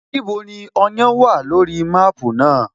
Níbo ni Ọ̀yán wà lórí máàpú náà?